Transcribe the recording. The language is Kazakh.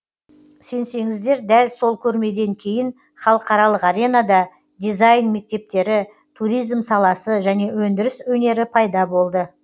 сенсеңіздер дәл сол көрмеден кейін халықаралық аренада дизайн мектептері туризм саласы және өндіріс өнері пайда болды